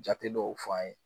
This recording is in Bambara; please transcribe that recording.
Jate dɔw f'an ye